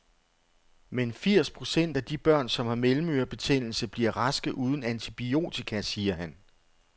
Men firs procent af de børn, som har mellemørebetændelse, bliver raske uden antibiotika, siger han.